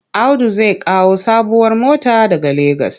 Audu zai kawo sabuwar mota daga Legas.